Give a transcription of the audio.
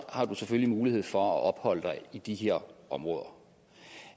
har du selvfølgelig mulighed for at opholde dig i de her områder